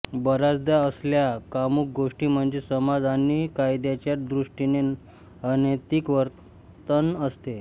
बऱ्याचदा असल्या कामुक गोष्टीं म्हणजे समाज आणि कायद्याच्या दृष्टीने अनैतिक वर्तन असते